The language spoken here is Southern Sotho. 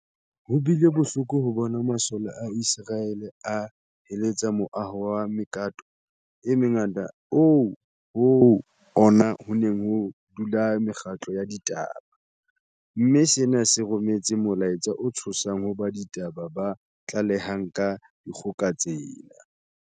Ho bile bohloko ho bona masole a Iseraele a heletsa moaho wa mekato e mengata oo ho ona ho neng ho dula mekgatlo ya ditaba, mme sena se rometse molaetsa o tshosang ho ba ditaba ba tlalehang ka dikgoka tsena.